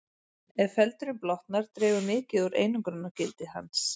Ef feldurinn blotnar dregur mikið úr einangrunargildi hans.